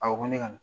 A ko ko ne ka na